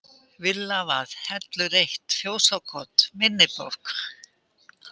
Villavað, Hellur 1, Fjósakot, Minniborg